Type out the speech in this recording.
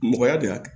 Mɔgɔya de y'a kɛ